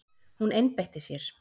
Hún einbeitti sér.